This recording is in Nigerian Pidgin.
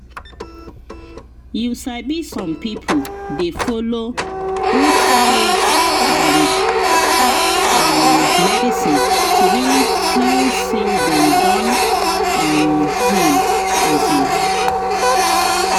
you sabi some people dey follow both faith and um medicine to really feel say dem don um heal. um